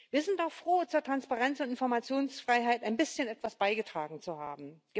Wir sind auch froh, zu Transparenz und Informationsfreiheit ein bisschen beigetragen zu haben.